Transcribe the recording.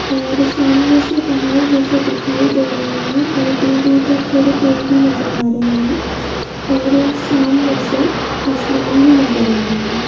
और सामने से पहाड़ जैसे दिखाई दे रहे है। और दूर दूर तक थोड़े पेड़ भी नजर आ रहे है। और सामने से आसमान भी नजर आ रहा है।